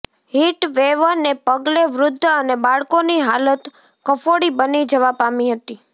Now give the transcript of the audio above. હીટવેવને પગલે વૃદ્ધ અને બાળકોની હાલત કફોડી બની જવા પામી હતી